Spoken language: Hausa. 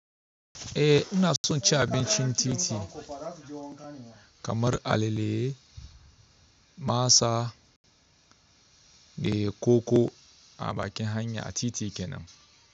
Eh ina son ci abincin titi kamar alale, masa da koko a bakin hanya a titi kenan.